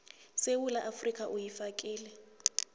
yesewula afrika uyifakile